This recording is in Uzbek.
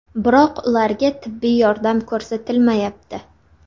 Biroq ularga tibbiy yordam ko‘rsatilmayapti.